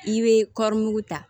I bɛ kɔɔrimugu ta